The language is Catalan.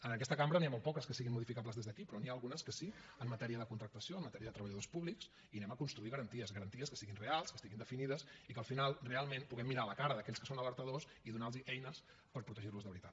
en aquesta cambra n’hi ha molt poques que siguin modificables des d’aquí però n’hi ha algunes que sí en matèria de contractació en matèria de treballadors públics i anem a construir garanties garanties que siguin reals que estiguin definides i que al final realment puguem mirar a la cara d’aquells que són alertadors i donar los eines per protegir los de veritat